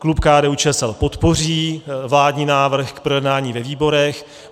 Klub KDU-ČSL podpoří vládní návrh k projednání ve výborech.